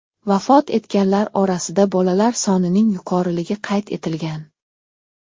Vafot etganlar orasida bolalar sonining yuqoriligi qayd etilgan.